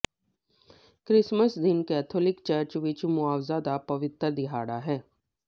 Christmas ਦਿਨ Catholic church ਵਿਚ ਮੁਆਵਜ਼ਾ ਦਾ ਪਵਿੱਤਰ ਦਿਹਾੜਾ ਹੈ